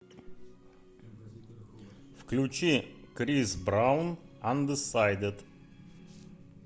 включи крис браун андесайдед